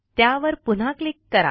त्यावर पुन्हा क्लिक करा